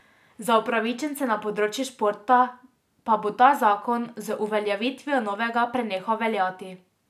Za upravičence na področju športa pa bo ta zakon z uveljavitvijo novega prenehal veljati.